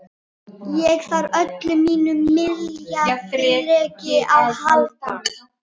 Hins vegar hefur hann verið kallaður eyðsluseggur